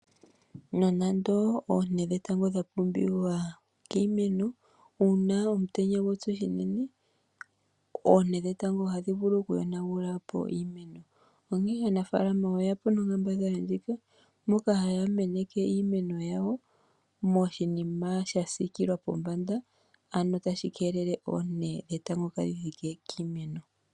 Nonando oonte dhetango dha pumbiwa kiimeno uuna omutenya gwatsu uunene oonte dhetango ohadhi vulu okuyonagula po iimeno onkee aanafalama oyeya po nonkambadhala moka haa komeneke iimeno yawo moshinima sha siikila pombanda moka tadhi keelele oonte dhetango kaadhi thike kiimeno.